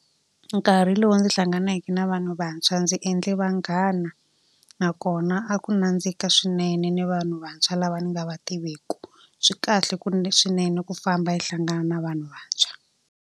Nkarhi lowu ndzi hlanganeke na vanhu vantshwa ndzi endle vanghana, nakona a ku nandzika swinene ni vanhu vantshwa lava ni nga va tiveki. Swi kahle ku swinene ku famba i hlangana na vanhu vantshwa.